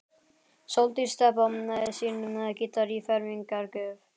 Sóldís Stebba sínum gítar í fermingargjöf.